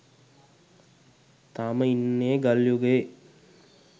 තාම ඉන්න්නේ ගල් යුගයේ.